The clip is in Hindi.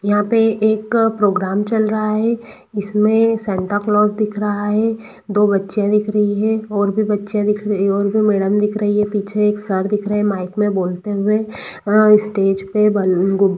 यहां पर एक प्रोग्राम चल रहा है इसमें सांता क्लास दिख रहा है दो बच्चे दिख रहे हैं और भी बच्चे दिख रहे हैं और भी मैडम दिख रहे हैं पीछे एक सर दिख रहे हैं पीछे माइक में बोलते हुए स्टेज में गुब्बारे--